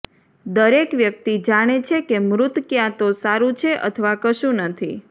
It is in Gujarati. દરેક વ્યક્તિ જાણે છે કે મૃત ક્યાં તો સારું છે અથવા કશું નથી